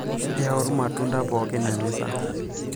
yau irmatunda pookin emeza